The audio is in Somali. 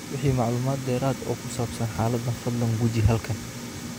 Wixii macluumaad dheeraad ah oo ku saabsan xaaladdan, fadlan guji halkan.